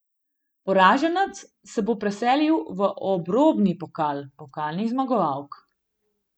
Poraženec se bo preselil v obrobni pokal pokalnih zmagovalk.